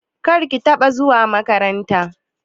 Kar ki taka zuwa makaranta!